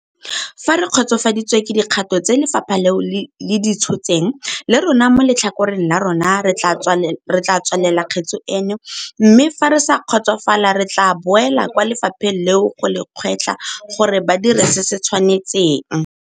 Fa re kgotsofaditswe ke dikgato tse lefapha leo le di tshotseng, le rona mo letlhakoreng la rona re tla tswalela kgetse eno, mme fa re sa kgotsofala re tla boela kwa lefapheng leo go le gwetlha gore ba dire se se tshwanetseng.